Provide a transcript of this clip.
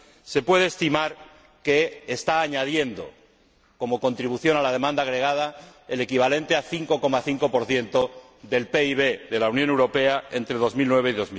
se puede estimar que están añadiendo, como contribución a la demanda agregada, el equivalente al 5,5 del PIB de la Unión Europea entre 2009 y